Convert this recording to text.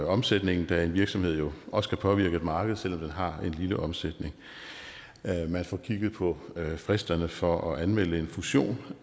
omsætningen da en virksomhed jo også kan påvirke et marked selv om den har en lille omsætning man får kigget på fristerne for at anmelde en fusion